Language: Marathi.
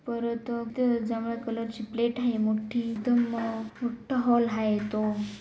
परत अ ज्यामुळे कलर ची प्लेट आहे मोठी एकदम मोठा हॉल आहे तो.